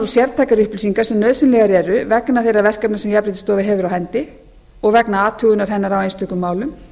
sértækar upplýsingar sem nauðsynlegar eru vegna þeirra verkefna sem jafnréttisstofa hefur á hendi og vegna athugunar hennar á einstökum málum